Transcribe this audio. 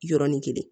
Yɔrɔnin kelen